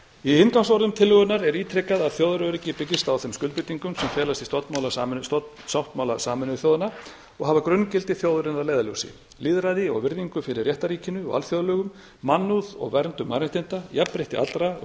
í inngangsorðum tillögunnar er ítrekað að þjóðaröryggi byggist á þeim skuldbindingum sem felast í stofnsáttmála sameinuðu þjóðanna og hafa grunngildi þjóðarinnar að leiðarljósi lýðræði og virðingu fyrir réttarríkinu og alþjóðalögum mannúð og verndun mannréttinda jafnrétti allra og